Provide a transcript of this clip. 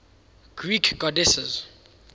greek goddesses